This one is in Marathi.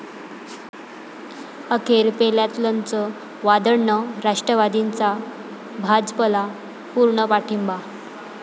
अखेर पेल्यातलंच वादळं, राष्ट्रवादीचा भाजपला पूर्ण पाठिंबा